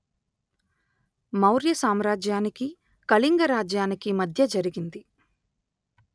మౌర్య సామ్రాజ్యానికి కళింగ రాజ్యానికి మధ్య జరిగింది